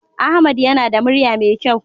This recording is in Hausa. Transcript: Ahmed yana da murya mai kyau.